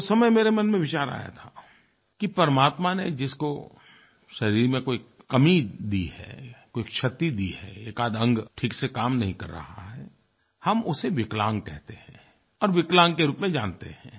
तो उस समय मेरे मन में विचार आया था कि परमात्मा ने जिसको शरीर में कोई कमी दी है कोई क्षति दी है एकाध अंग ठीक से काम नहीं कर रहा है हम उसे विकलांग कहते हैं और विकलांग के रूप में जानते हैं